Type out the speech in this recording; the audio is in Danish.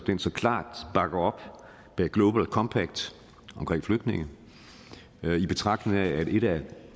så klart bakker op bag global compact om flygtninge i betragtning af at et af